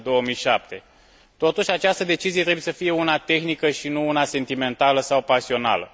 2007. Totuși, această decizie trebuie să fie una tehnică, și nu una sentimentală sau pasională.